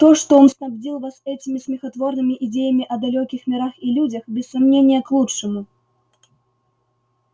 то что он снабдил вас этими смехотворными идеями о далёких мирах и людях без сомнения к лучшему